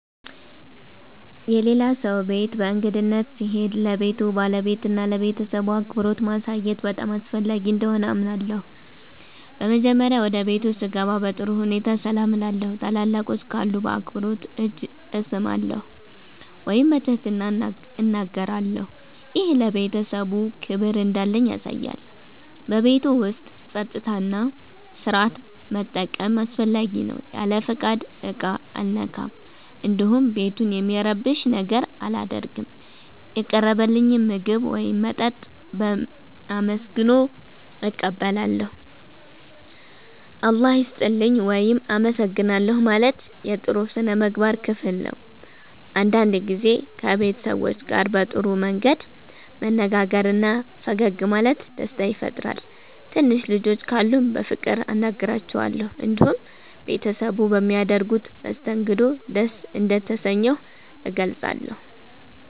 የሌላ ሰው ቤት በእንግድነት ስሄድ ለቤቱ ባለቤትና ለቤተሰቡ አክብሮት ማሳየት በጣም አስፈላጊ እንደሆነ አምናለሁ። በመጀመሪያ ወደ ቤቱ ስገባ በጥሩ ሁኔታ ሰላም እላለሁ። ታላላቆች ካሉ በአክብሮት እጅ እሰማለሁ ወይም በትህትና እናገራለሁ። ይህ ለቤተሰቡ ክብር እንዳለኝ ያሳያል። በቤቱ ውስጥ ጸጥታና ሥርዓት መጠበቅም አስፈላጊ ነው። ያለ ፍቃድ ዕቃ አልነካም፣ እንዲሁም ቤቱን የሚረብሽ ነገር አላደርግም። የቀረበልኝን ምግብ ወይም መጠጥ በአመስግኖ እቀበላለሁ። “እግዚአብሔር ይስጥልኝ” ወይም “አመሰግናለሁ” ማለት የጥሩ ሥነ ምግባር ክፍል ነው። አንዳንድ ጊዜ ከቤት ሰዎች ጋር በጥሩ መንገድ መነጋገርና ፈገግ ማለት ደስታ ይፈጥራል። ትንሽ ልጆች ካሉም በፍቅር አናግራቸዋለሁ። እንዲሁም ቤተሰቡ በሚያደርጉት መስተንግዶ ደስ እንደተሰኘሁ እገልጻለሁ።